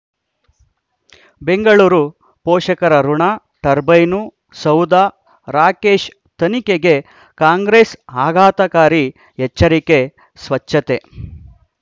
ಬೆಂಗಳೂರು ಪೋಷಕರಋಣ ಟರ್ಬೈನು ಸೌಧ ರಾಕೇಶ್ ತನಿಖೆಗೆ ಕಾಂಗ್ರೆಸ್ ಆಘಾತಕಾರಿ ಎಚ್ಚರಿಕೆ ಸ್ವಚ್ಛತೆ